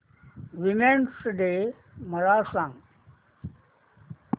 women's day मला सांग